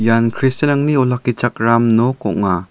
ian kristianrangni olakkichakram nok ong·a.